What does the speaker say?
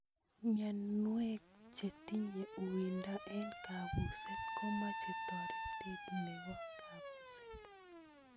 Mnyenik chetinye uindo eng kabuset ko meche toretet nebo kabuset.